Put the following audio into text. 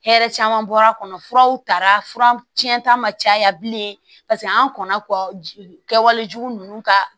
Hɛrɛ caman bɔra kɔnɔ furaw taara furaw tiɲɛnta ma caya bilen paseke an kɔnna kɔ kɛwale jugu ninnu ka